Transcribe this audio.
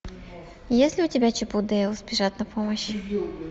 есть ли у тебя чип и дейл спешат на помощь